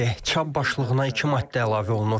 Çap başlığına iki maddə əlavə olunur.